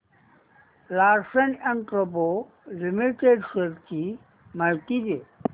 Larsen and टुर्बो limited shares ची माहिती दे